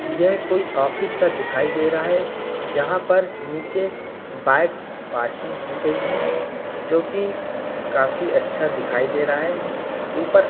यह कोई ऑफिस सा दिखाई दे रहा है। जहां पर नीचे बाइक्स पार्किंग की गई है जो की काफी अच्छा दिखाई दे रहा है। ऊपर --